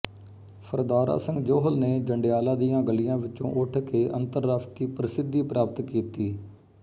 ਸਰਦਾਰਾ ਸਿੰਘ ਜੌਹਲ ਨੇ ਜੰਡਿਆਲਾ ਦੀਆਂ ਗਲੀਆਂ ਵਿੱਚੋਂ ਉੱਠ ਕੇ ਅੰਤਰਰਾਸ਼ਟਰੀ ਪ੍ਰਸਿੱਧੀ ਪ੍ਰਾਪਤ ਕੀਤੀ